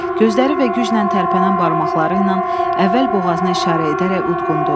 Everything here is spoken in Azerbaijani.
Gözləri və güclə tərpənən barmaqları ilə əvvəl boğazına işarə edərək udqundu.